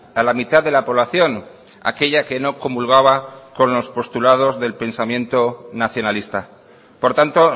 a la mitad de la población aquella que no comulgaba con los postulados del pensamiento nacionalista por tanto